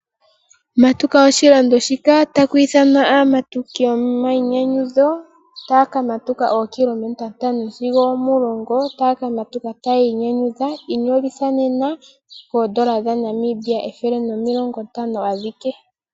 Matuka oshilando shika. Otaku ithanwa aamatuki gomayinyanyudho taya kamatuka ookilometa ntano sigo omulongo, taya ka matuka taya inyanyudha .Inyolitha nena koondola dha Namibia ethele nomilongo ntano adhike.